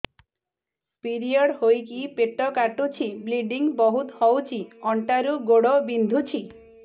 period ହୋଇକି ପେଟ କାଟୁଛି ବ୍ଲିଡ଼ିଙ୍ଗ ବହୁତ ହଉଚି ଅଣ୍ଟା ରୁ ଗୋଡ ବିନ୍ଧୁଛି